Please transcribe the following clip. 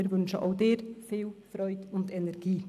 Wir wünschen auch Ihnen viel Freude und Energie.